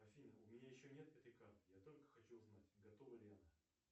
афина у меня еще нет этой карты я только хочу узнать готова ли она